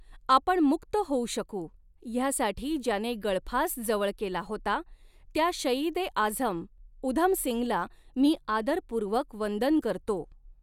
आपण मुक्त होऊ शकू ह्यासाठी ज्याने गळफास जवळ केला होता, त्या शहीद ए आझम उधम सिंगला मी आदरपूर्वक वंदन करतो.